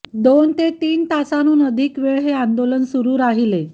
दोन ते तीन तासाहून अधिक वेळ हे आंदोलन सुरू राहिले